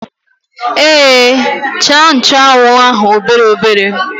Èé, chàà nchụ́anwu ahụ obere obere